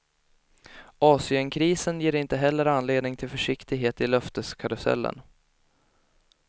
Asienkrisen ger inte heller anledning till försiktighet i löfteskarusellen.